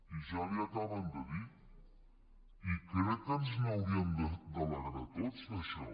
i ja li ho acaben de dir i crec que ens n’hauríem d’alegrar tots d’això